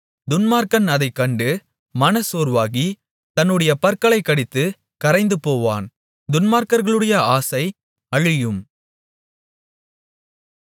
துன்மார்க்கன் அதைக் கண்டு மனச்சோர்வாகி தன்னுடைய பற்களைக் கடித்துக் கரைந்துபோவான் துன்மார்க்கர்களுடைய ஆசை அழியும்